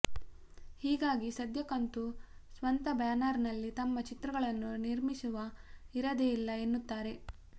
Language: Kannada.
ಹೀಗಾಗಿ ಸದ್ಯಕ್ಕಂತೂ ಸ್ವಂತ ಬ್ಯಾನರ್ನಲ್ಲಿ ತಮ್ಮ ಚಿತ್ರಗಳನ್ನು ನಿರ್ಮಿಸುವ ಇರಾದೆ ಇಲ್ಲ ಎನ್ನುತ್ತಾರೆ